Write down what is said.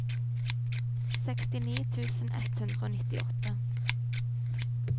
sekstini tusen ett hundre og nittiåtte